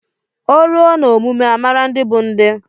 O ruo na omume amara ndị bụ ndị.